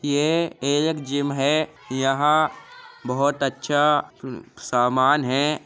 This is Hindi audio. ये एक जिम है। यहां बोहोत अच्छा उम्म सामान है।